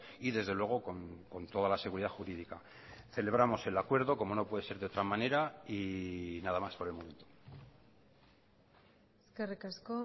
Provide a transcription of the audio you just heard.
y desde luego con toda la seguridad jurídica celebramos el acuerdo como no puede ser de otra manera y nada más por el momento eskerrik asko